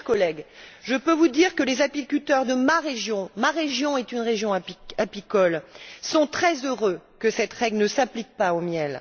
Chers collègues, je peux vous dire que les apiculteurs de ma région, qui est une région apicole, sont très heureux que cette règle ne s'applique pas au miel.